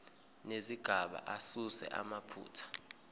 nezigaba asuse amaphutha